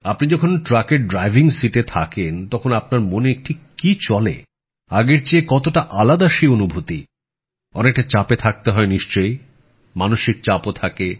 আপনি যখন ট্রাকের ড্রাইভিং সিটে থাকেন তখন আপনার মনে ঠিক কি চলে আগের চেয়ে কতটা আলাদা সেই অনুভূতি অনেকটা চাপে থাকতে হয় নিশ্চয়ই মানসিক চাপ ও থাকে